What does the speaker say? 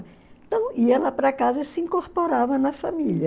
Então ia lá para casa e se incorporava na família.